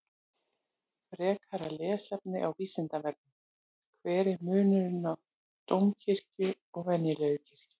Frekara lesefni á Vísindavefnum: Hver er munurinn á dómkirkju og venjulegri kirkju?